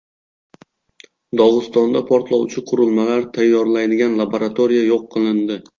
Dog‘istonda portlovchi qurilmalar tayyorlaydigan laboratoriya yo‘q qilindi .